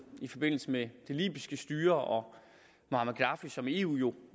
i forbindelse med det libyske styre og muammar gaddafi som eu jo